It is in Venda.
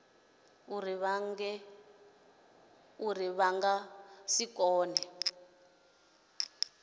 uri vha nga si kone